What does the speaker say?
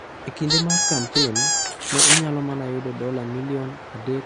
.E kinde mar kampen, ne onyalo mana yudo dola milion 3.5.